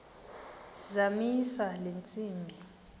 zamisa le ntsimbi